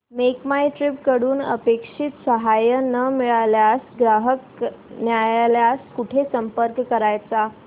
make My Trip कडून अपेक्षित सहाय्य न मिळाल्यास ग्राहक न्यायालयास कुठे संपर्क करायचा